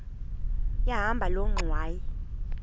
yahamba loo ngxwayi